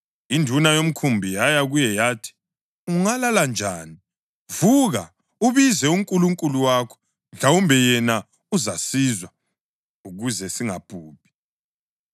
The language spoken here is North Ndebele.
Induna yomkhumbi yaya kuye yathi, “Ungalala njani? Vuka ubize unkulunkulu wakho! Mhlawumbe yena uzasizwa ukuze singabhubhi.”